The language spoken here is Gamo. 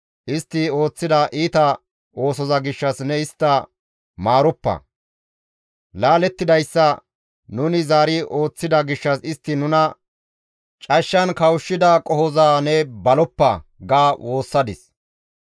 Istti ooththida iita oosoza gishshas ne istta maaroppa; laalettidayssa nuni zaari ooththida gishshas istti nuna cashshan kawushshida qohoza ne baloppa» ga woossadis.